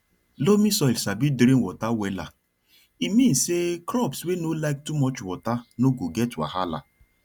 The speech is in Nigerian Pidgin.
loamy soil sabi drain water wella e mean say crops wey no like too much water no go get wahala